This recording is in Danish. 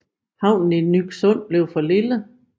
Havnen i Nyksund blev for lille